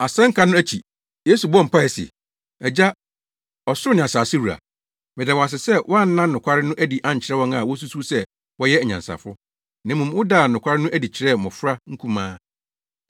Asɛnka no akyi, Yesu bɔɔ mpae se, “Agya, ɔsoro ne asase wura, meda wo ase sɛ woanna nokware no adi ankyerɛ wɔn a wosusuw sɛ wɔyɛ anyansafo, na mmom wodaa nokware no adi kyerɛɛ mmofra nkumaa.